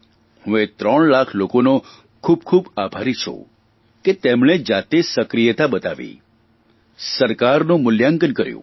હું એ ત્રણ લાખ લોકોનો ખૂબ ખૂબ આભારી છું કે તેમણે જાતે સક્રિયતા બતાવી સરકાનું મૂલ્યાંકન કર્યું